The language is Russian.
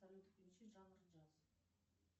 салют включи жанр джаз